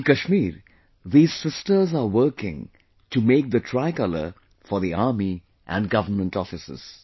In Kashmir, these sisters are working to make the Tricolour for the Army and government offices